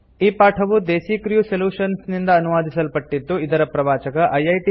ಈ ಪಾಠವು Desi Crew Solutions ನಿಂದ ಅನುವಾದಿಸಲ್ಪಟ್ಟಿದ್ದು ಇದರ ಪ್ರವಾಚಕ ಐಐಟಿ